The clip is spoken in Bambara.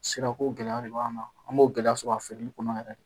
Sira ko gɛlɛya de b'an kan an b'o gɛlɛya sɔrɔ a feereli kɔnɔ yɛrɛ de